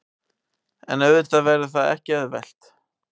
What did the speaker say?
En auðvitað verður það ekki auðvelt